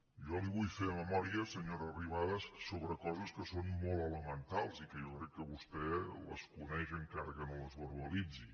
jo li vull fer memòria senyora arrimadas sobre coses que són molt elementals i que jo crec que vostè les coneix encara que no les verbalitzi